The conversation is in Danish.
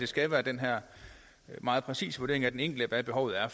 skal være den her meget præcise vurdering af hvad den enkeltes behov er